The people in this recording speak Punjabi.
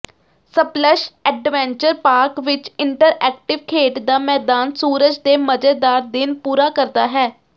ਸਪਲਸ਼ ਐਡਵੈਂਚਰ ਪਾਰਕ ਵਿੱਚ ਇੰਟਰਐਕਟਿਵ ਖੇਡ ਦਾ ਮੈਦਾਨ ਸੂਰਜ ਦੇ ਮਜ਼ੇਦਾਰ ਦਿਨ ਪੂਰਾ ਕਰਦਾ ਹੈ